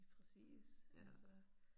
Lige præcis altså